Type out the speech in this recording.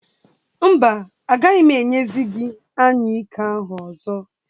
Mba, agaghị m enyezi gị anyụike ahụ ọzọ.